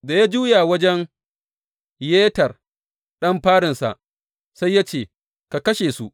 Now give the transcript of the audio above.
Da ya juya wajen Yeter, ɗan farinsa, sai ya ce, Ka kashe su!